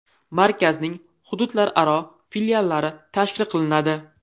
Markazning hududlararo filiallari tashkil qilinadi.